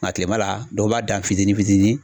Nka kilema la dɔw b'a dan fitinin fitinin.